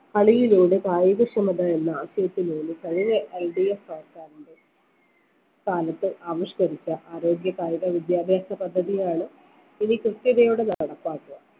കളിയിലൂടെ കായിക ക്ഷമത എന്ന ആശയത്തിൽ നിന്ന് പഴയ LDF സർക്കാരിന്റെ കാലത്ത് ആവിഷ്കരിച്ച ആരോഗ്യ കായിക വിദ്യാഭ്യാസ പദ്ധതിയാണ് ഇനി കൃത്യതയോടെ നടപ്പാക്കുക